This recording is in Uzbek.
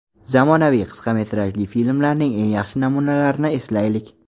Zamonaviy qisqa metrajli filmlarning eng yaxshi namunalarini eslaylik.